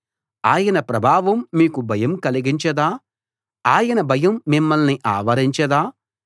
ఆయన ప్రభావం మీకు భయం కలిగించదా ఆయన భయం మిమ్మల్ని ఆవరించదా